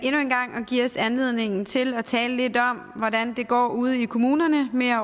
give os en anledning til at tale lidt om hvordan det går ude i kommunerne med at